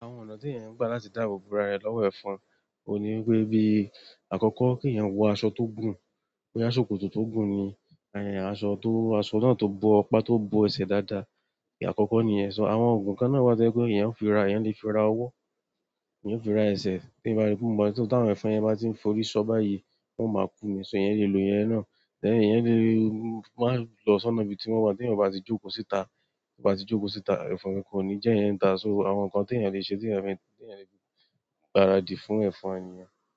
Àwọn ọ̀nà tí èèyàn ń gbà láti dáàbò bora rẹ̀ lọ́wọ́ ẹ̀fọn ohun ní wipé bí àkọ́kọ́ kí èèyàn wọ aṣọ tó gùn, bóyá ṣòkòtò tó gùn ni, en aṣọ tó, aṣọ náà tó bo apá tó bo ẹsẹ̀ dáadáa. Àkọ́kọ́ ni yẹn. So àwọn ògùn kan náà wá tó jẹ pé èèyàn ó fi ra, èèyàn lè fi ra owó, èèyàn ó fi ra ẹsẹ̀ tí èèyàn bá ri pe o maa n---, tí àwọn ẹ̀fọn yẹn bá ti ń forí ṣọ́ báyìí, wọ́n o máa kú nì ṣo èèyàn lè lo ìyẹn náà. Ẹ̀ẹ̀yàn lè máa lọ sọ́nà ibi tí wọ́n wà tí èèyàn o bá ti jókòó síta, tí èèyàn o bá ti jókòó síta, ẹ̀fọn kankan kò ní jẹ́ èèyàn ní ìta, so àwọn nǹkan tí èèyàn lè ṣe tí èèyàn lè gbaradì fún ẹ̀fọn nìyẹn.